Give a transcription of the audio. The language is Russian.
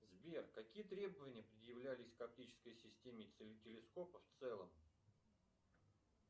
сбер какие требования предъявлялись к оптической системе телескопа в целом